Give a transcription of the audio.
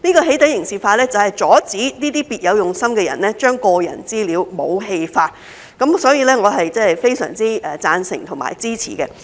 "起底"刑事化，就是阻止那些別有用心的人將個人資料武器化，所以，我是非常贊成和支持的。